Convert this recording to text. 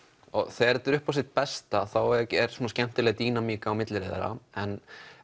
þetta er upp á sitt besta þá er skemmtileg dínamík á milli þeirra en